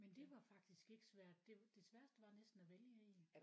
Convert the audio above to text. Men det var faktisk ikke svært det det sværeste var næsten at vælge en